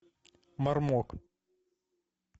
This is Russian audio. мармок